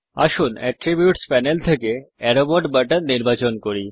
আসুন attributes panel থেকে arrow mode button নির্বাচন করি